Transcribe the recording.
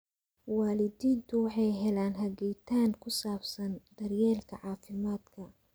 Waalidiintu waxay helaan hagitaan ku saabsan daryeelka caafimaadka.